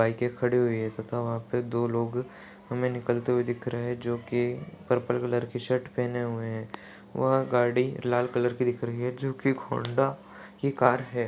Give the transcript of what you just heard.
बाइके खड़ी हुई है तथा वहा पे दो लोग हमे निकलते हुए दिख रहे है जोकि पर्पल कलर की शर्ट पहने हुए है वह गाड़ी लाल कलर की दिख रही है जोकि होंडा की कार है।